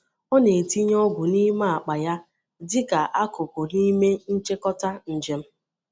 Ọ na-etinye ogwù n’ime akpa ya dịka akụkụ n’ime nchịkọta njem.